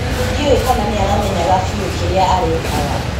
Ndiũe kana niaramenyaga biũ kĩrĩa arekaga